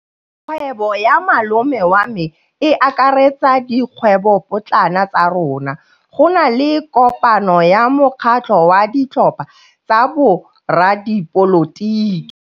Kgwêbô ya malome wa me e akaretsa dikgwêbôpotlana tsa rona. Go na le kopanô ya mokgatlhô wa ditlhopha tsa boradipolotiki.